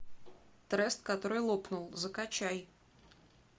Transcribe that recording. трест который лопнул закачай